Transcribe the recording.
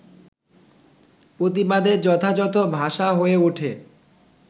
প্রতিবাদের যথাযথ ভাষা হয়ে ওঠে